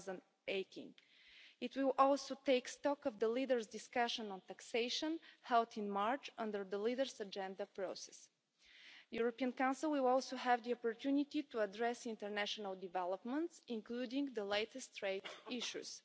2018. It will also take stock of the leaders' discussion on taxation held in March under the Leaders' Agenda process. The European Council will also have the opportunity to address international developments, including the latest trade issues.